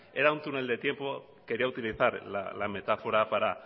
era un túnel del tiempo quería utilizar la metáfora para